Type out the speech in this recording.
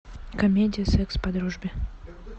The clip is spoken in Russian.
комедия секс по дружбе